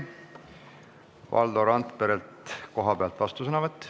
Valdo Randperelt kohapealt vastusõnavõtt.